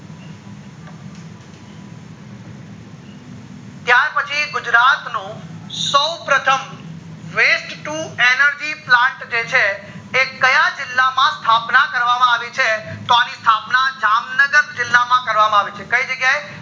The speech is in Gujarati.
ત્યાર પછી ગુજરાત નું સૌપ્રથમ waste to energy plant જે છે એ ક્યાં જીલ્લા માં સ્થાપના કરવામાં આવી છે તો અણી સ્થાપના જામનગર જીલ્લા માં કરવામાં આવી છે કઈ જગ્યા એ